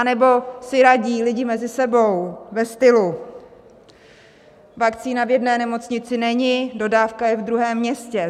Anebo si radí lidé mezi sebou ve stylu: Vakcína v jedné nemocnici není, dodávka je v druhém městě.